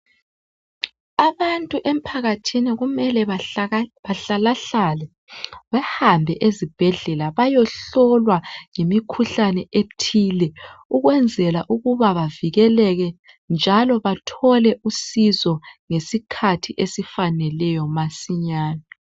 Abantu emphakathini kumele bahlalahlale behambe ezibhedlela beyohlolwa ngemikhuhlane ethile ukwenzela ukubana bavikeleke njalo bathole usizo ngesikhathi esifaneleyo masinyane